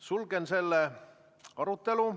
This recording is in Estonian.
Sulgen selle arutelu.